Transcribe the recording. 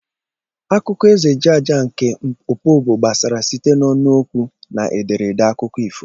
Akụkọ Eze Jaja nke Opobo gbasara site n'ọnụ okwu na ederede akụkọ ifo.